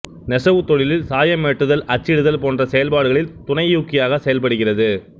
நெசவுத் தொழிலில் சாயமேற்றுதல் அச்சிடுதல் போன்ற செயல்பாடுகளில் துணையூக்கியாகச் செயல்படுகிறது